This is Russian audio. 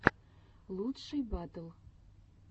лучшие батл